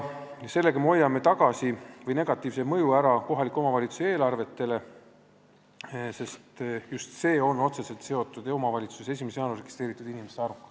Muudatusega hoiame ära negatiivse mõju kohaliku omavalitsuse eelarvetele, sest need on otseselt seotud 1. jaanuariks omavalitsusse registreeritud inimeste arvuga.